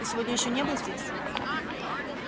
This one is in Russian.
ты сегодня ещё не был здесь